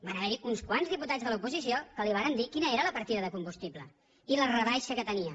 van haver hi uns quants diputats de l’oposició que li vàrem dir quina era la partida de combustible i la rebaixa que tenia